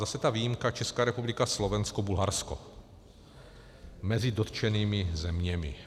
Zase ta výjimka, Česká republika, Slovensko, Bulharsko mezi dotčenými zeměmi.